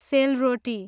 सेलरोटी